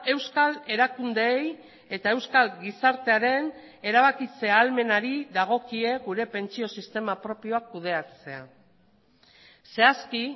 euskal erakundeei eta euskal gizartearen erabakitze ahalmenari dagokie gure pentsio sistema propioak kudeatzea zehazki